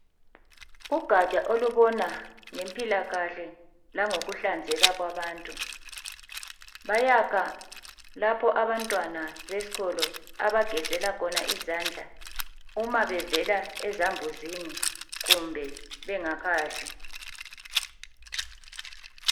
Ugatsha olubona ngempilakahle langokuhlanzeka kwabantu. Bayakha lapho abantwana besikolo abagezela khona izandla uma bevela ezambuzini kumbe bengakadli